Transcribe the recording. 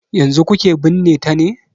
Yanzu kuke binne ta ne?